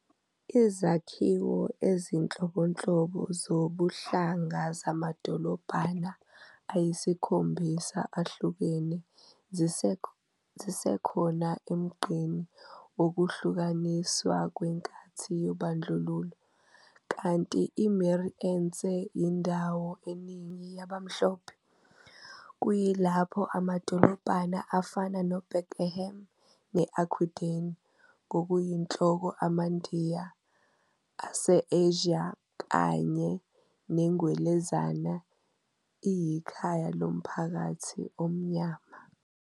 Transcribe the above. Izakhiwo ezinhlobonhlobo zobuhlanga zamadolobhana ayisikhombisa ahlukene zisekhona emgqeni wokuhlukaniswa kwenkathi yobandlululo, kanti i-Meerensee iyindawo eningi yabamhlophe, kuyilapho amadolobhana afana neBrackenham ne-Aquadene ngokuyinhloko amaNdiya, ase-Asia kanye neNgwelezane iyikhaya lomphakathi omnyama.